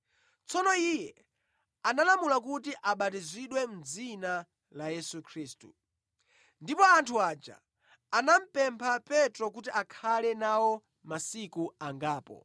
Tsono iye analamula kuti abatizidwe mʼdzina la Yesu Khristu. Ndipo anthu aja anamupempha Petro kuti akhale nawo masiku angapo.